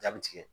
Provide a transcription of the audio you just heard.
Jaabi tigɛ